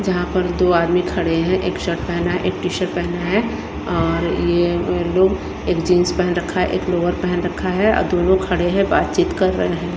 जहां पर दो आदमी खड़े हैं एक शर्ट पहना है एक टी_शर्ट पहना है अ और ये लोग एक जीन्स पहन रखा है एक लोवर पहन रखा है और दोनों खड़े हैं बातचीत कर रहे हैं।